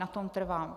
Na tom trvám.